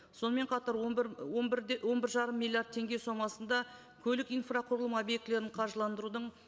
сонымен қатар он бір он бір де он бір жарым миллиард теңге сомасында көлік инфрақұрылым объектілерін қаржыландырудың